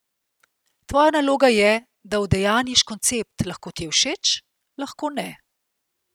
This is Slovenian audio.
Tvoja naloga je, da udejanjiš koncept, lahko ti je všeč, lahko ne.